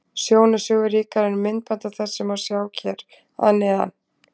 Sjón er sögu ríkari en myndband af þessu má sjá hér að neðan.